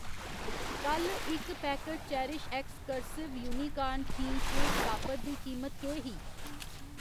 कल्ल इक packet CherishX cursive unicorn theme cake topper दी कीमत केह् ही?